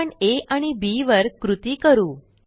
आपणa आणि बी वर कृती करू